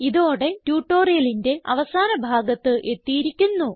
ഇതോടെ ട്യൂട്ടോറിയലിന്റെ അവസാന ഭാഗത്ത് എത്തിയിരിക്കുന്നു